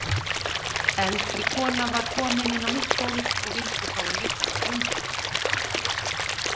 Eldri kona var komin inn á mitt gólf og vildi fá að líta á blúndudúka.